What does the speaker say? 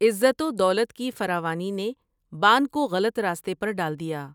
عزت و دولت کی فراوانی نے بان کو غلط راستے پر ڈال دیا ۔